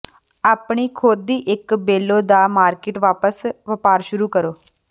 ਆਪਣੀ ਖੁਦ ਦੀ ਇੱਕ ਬੇਲੋ ਦਾ ਮਾਰਕੀਟ ਵਪਾਰ ਸ਼ੁਰੂ ਕਰੋ